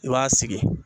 I b'a sigi